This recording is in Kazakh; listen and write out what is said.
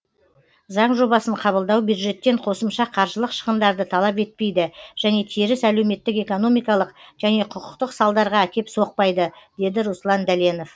заң жобасын қабылдау бюджеттен қосымша қаржылық шығындарды талап етпейді және теріс әлеуметтік экономикалық және құқықтық салдарға әкеп соқпайды деді руслан дәленов